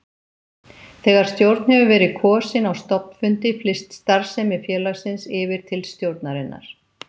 Þegar stjórn hefur verið kosin á stofnfundi flyst starfsemi félagsins yfir til stjórnarinnar.